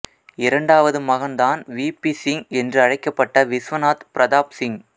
இரண்டாவது மகன்தான் V P Singh என்றழைக்கப்பட்ட விஸ்வநாத் பிரதாப் சிங்